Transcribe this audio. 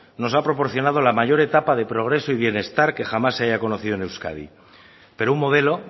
nos ha proporcionado la mayor etapa de progreso y bienestar que jamás se haya conocido en euskadi pero un modelo